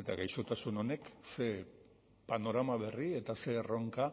eta gaixotasun honek ze panorama berri eta ze erronka